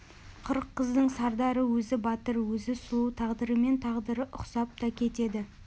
қырық қыздың сардары өзі батыр өзі сұлу тағдырымен тағдыры ұқсап та кетеді